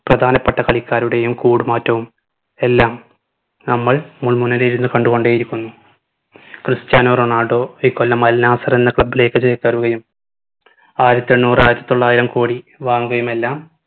പ്രധാനപ്പെട്ട കളിക്കാരുടെയും കൂട് മാറ്റവും എല്ലാം നമ്മൾ മുൾമുനയിലിരുന്ന് കണ്ടു കൊണ്ടേ ഇരിക്കുന്നു ക്രിസ്ത്യാനോ റൊണാൾഡോ ഇക്കൊല്ലം അൽനാസർ എന്ന club ലേക്ക് ചേക്കേറുകയും ആയിരത്തി എണ്ണൂറ് ആയിരത്തി തൊള്ളായിരം കോടി വാങ്ങുകയുമെല്ലാം